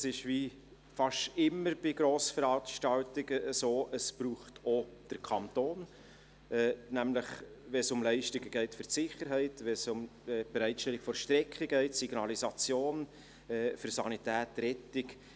– Es ist, wie fast immer bei Grossveranstaltungen, so, dass es auch den Kanton braucht, nämlich dann, wenn es um Leistungen für die Sicherheit geht, um die Bereitstellung von Strecken sowie die Signalisation, Sanität und Rettung.